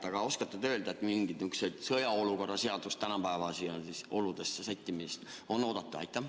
Kas te oskate öelda, kas mingit sõjaseisukorra sätete tänapäevastesse oludesse sättimist on oodata?